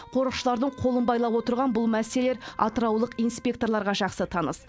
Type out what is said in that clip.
қорықшылардың қолын байлап отырған бұл мәселелер атыраулық инспекторларға жақсы таныс